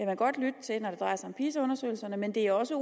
man godt lytte til når det drejer sig om pisa undersøgelserne men det er også